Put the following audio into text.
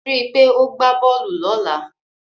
Rí i pé o gbá bọ́ọ̀lù lọ́la.